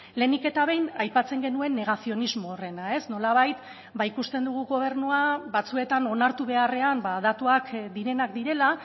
lehenik eta behin aipatzen genuen negazionismo horrena nolabait ikusten dugu gobernua batzuetan onartu beharrean datuak direnak direla